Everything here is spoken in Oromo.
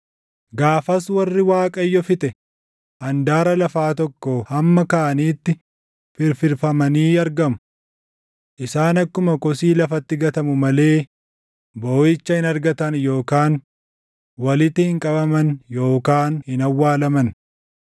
Gaafas warri Waaqayyo fixe handaara lafaa tokkoo hamma kaaniitti firfirfamanii argamu. Isaan akkuma kosii lafatti gatamu malee booʼicha hin argatan yookaan walitti hin qabaman yookaan hin awwaalaman.